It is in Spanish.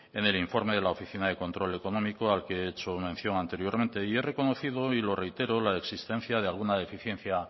en el informe de la oficina de control económico al que he hecho mención anteriormente y he reconocido y lo reitero la existencia de alguna deficiencia